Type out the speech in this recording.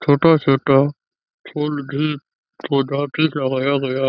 छोटा छोटा फूल भी पौधा भी लगाया गया है।